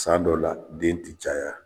San dɔ la den tɛ caya